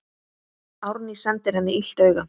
Árný sendir henni illt auga.